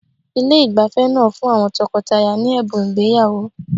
Ilé ìgbafẹ́ náà fún àwọn tọkọtaya ní ẹ̀bùn ìgbéyàwó.